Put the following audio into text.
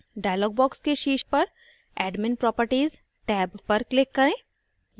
dialog box के शीर्ष पर admin properties टेब पर click करें